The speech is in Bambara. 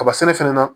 Kaba sɛnɛ fɛnɛ na